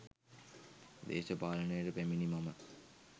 දේශපාලනයට පැමිණි මම